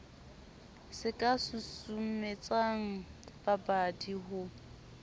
se ka susumetsang babadi ho